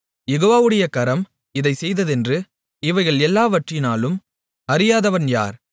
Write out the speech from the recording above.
யெகோவாவுடைய கரம் இதைச் செய்ததென்று இவைகள் எல்லாவற்றினாலும் அறியாதவன் யார்